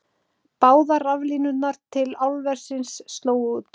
Báðar raflínurnar til álversins slógu út